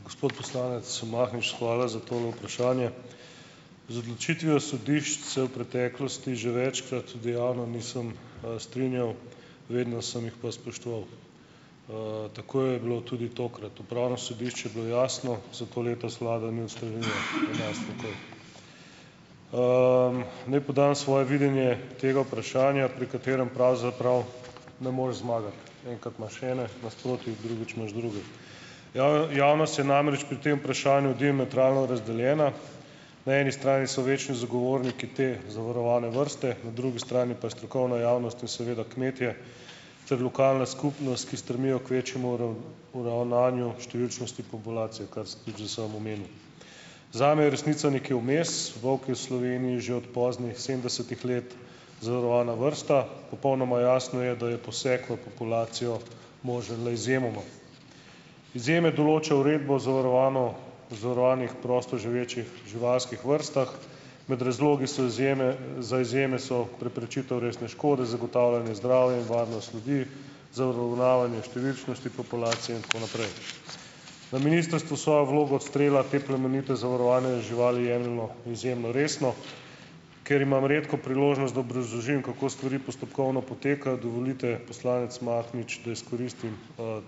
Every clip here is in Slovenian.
Gospod poslanec Mahnič, hvala za to vprašanje. Z odločitvijo sodišč se v preteklosti že večkrat dejavno nisem, strinjal. Vedno sem jih pa spoštoval. Tako je bilo tudi tokrat. Upravno sodišče je bilo jasno. Zato letos vlada ni uskladila, Naj podam svoje videnje tega vprašanja, pri katerem pravzaprav ne moreš zmagati. Enkrat imaš ene nasproti, drugič imaš druge. javnost je namreč pri tem vprašanju diametralno razdeljena. Na eni strani so večni zagovorniki te zavarovane vrste, na drugi strani pa strokovna javnost in seveda kmetje ter lokalna skupnost, ki strmijo k večjemu uravnavanju številčnosti populacije, kar ste tudi že sam omenil. Zame je resnica nekje vmes. Volk je v Sloveniji že od poznih sedemdesetih let zavarovana vrsta. Popolnoma jasno je, da je poseg v populacijo možen le izjemoma. Izjeme določa uredba o o zavarovanih prostoživečih živalskih vrstah. Med razlogi so izjeme. Za izjeme so preprečitev resne škode, zagotavljanje zdravja in varnost ljudi, za uravnavanje številčnosti populacije in tako naprej. Na ministrstvu svojo vlogo odstrela te plemenite zavarovane živali jemljemo izjemno resno. Ker imam redko priložnost, da obrazložim, kako stvari postopkovno potekajo, dovolite, poslanec Mahnič, da izkoristim,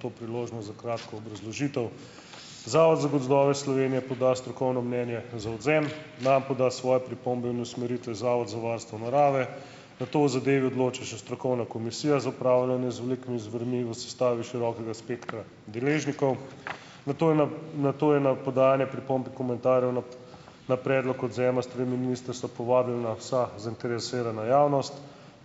to priložnost za kratko obrazložitev. Zavod za gozdove Slovenije poda strokovno mnenje za odvzem, nam poda svoje pripombe in usmeritve Zavod za varstvo narave. Nato o zadevi odloča še strokovna komisija za upravljanje z velikimi zvermi v sestavi širokega spektra deležnikov. Nato je na ... Nato je na podajanje pripomb in komentarjev na ... Na predlog odvzema s strani ministrstva povabljena vsa zainteresirana javnost.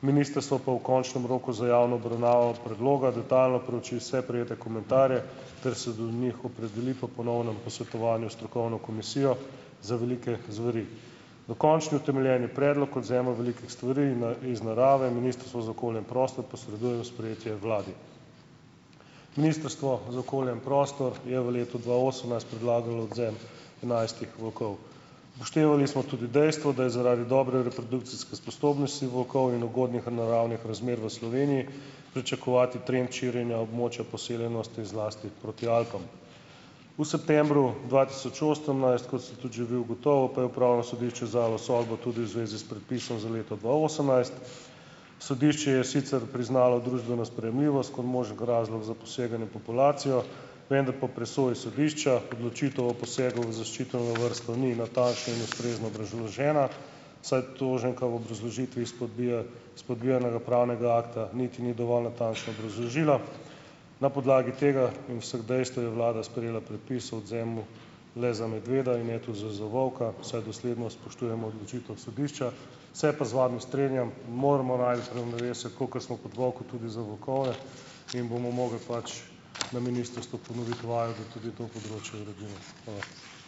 Ministrstvo pa v končnem roku za javno obravnavo predloga detajlno prouči vse prejete komentarje ter se do njih opredeli po ponovnem posvetovanju s strokovno komisijo za velike zveri. Dokončni utemeljeni predlog odvzema velikih stvari na iz narave Ministrstvo za okolje in prostor posreduje v sprejetje vladi. Ministrstvo za okolje in prostor je v letu dva osemnajst predlagalo odvzem enajstih volkov. Upoštevali smo tudi dejstvo, da je zaradi dobre reprodukcijske sposobnosti volkov in ugodnih naravnih razmer v Sloveniji pričakovati trend širjenja območja poseljenosti zlasti proti Alpam. V septembru dva tisoč osemnajst, kot ste tudi že vi ugotovil, pa je upravno sodišče izdalo sodbo tudi v zvezi s predpisom za leto dva osemnajst. Sodišče je sicer priznalo družbeno sprejemljivost kot možen razlog za poseganje v populacijo. Vendar po presoji sodišča odločitev o posegu v zaščiteno vrsto ni natančno in ustrezno obrazložena, saj toženka v obrazložitvi spodbija spodbijanega pravnega akta niti ni dovolj natančno obrazložila. Na podlagi tega in vseh dejstev je vlada sprejela predpis o odvzemu le za medveda in ne tudi z za volka, saj dosledno spoštujemo odločitev sodišča, se pa z vami strinjam, moramo najti ravnovesje, kakor smo proti volku, tudi za volkove, in bomo mogli pač na ministrstvu ponoviti vajo, da tudi to področje uredimo. Hvala.